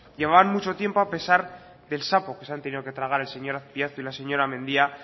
llevaban mucho tiempo a pesar del sapo que se han tenido que tragar el señor azpiazu y la señora mendia